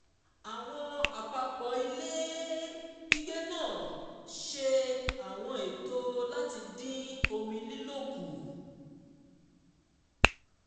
àwọn àpapọ̀ ilé gbígbé náà ṣe àwọn ètò láti dín omi lílò kù